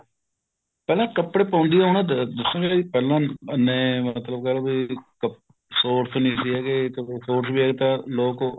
ਪਹਿਲਾ ਕੱਪੜਾ ਪਾਉਦੇ ਉਹਨਾ ਜਿਸਨੇ ਅਹ ਮਤਲਬ ਕਹਿ ਲਓ shorts ਨਹੀਂ ਸੀ ਹੈਗੇ shorts age ਤਾਂ ਲੋਕ